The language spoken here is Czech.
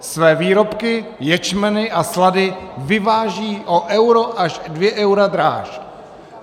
Své výrobky, ječmen a slady vyvážejí o euro až dvě eura dráž.